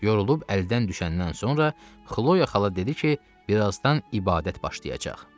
Yorulub əldən düşəndən sonra Xloya xala dedi ki, birazdan ibadət başlayacaq.